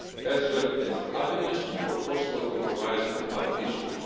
as well as avenues for possible compromise on other issues.